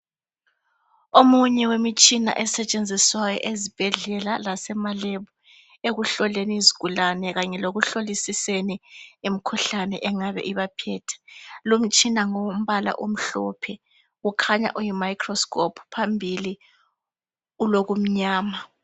omunye wemitshina esetshenziswayo ezibhedlela lasema lab ekuhloleni izigulane kanye lekuhlolisiseni imkhuhlane ibaphethe lo mtshina ngowombala omhlophe okhanya uyi microscope phambili ulokumyama